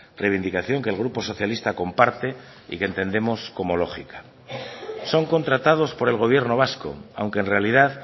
reivindicación que el grupo socialista comparte y que entendemos como lógica son contratados por el gobierno vasco aunque en realidad